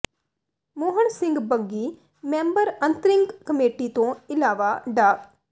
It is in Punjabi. ਮੋਹਣ ਸਿੰਘ ਬੰਗੀ ਮੈਂਬਰ ਅੰਤ੍ਰਿੰਗ ਕਮੇਟੀ ਤੋਂ ਇਲਾਵਾ ਡਾ